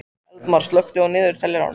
Eldmar, slökktu á niðurteljaranum.